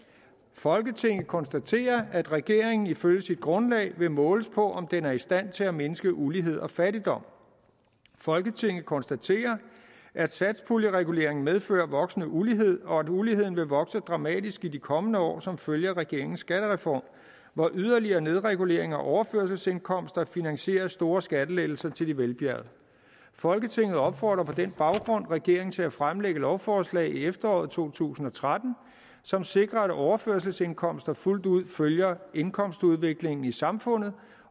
folketinget konstaterer at regeringen ifølge sit grundlag vil måles på om den er i stand til at mindske ulighed og fattigdom folketinget konstaterer at satspuljereguleringen medfører voksende ulighed og at uligheden vil vokse dramatisk i de kommende år som følge af regeringens skattereform hvor yderligere nedregulering af overførselsindkomster finansierer store skattelettelser til de velbjergede folketinget opfordrer på den baggrund regeringen til at fremlægge lovforslag i efteråret to tusind og tretten som sikrer at overførselsindkomster fuldt ud følger indkomstudviklingen i samfundet